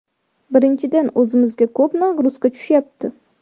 Birinchidan, o‘zimizga ko‘p ‘nagruzka’ tushyapti.